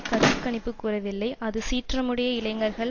கருத்து கணிப்பு கூறவில்லை அது சீற்றமுடைய இளைஞர்கள்